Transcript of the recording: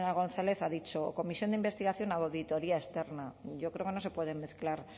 gonzález ha dicho o comisión de investigación o auditoría externa yo creo que no se pueden mezclar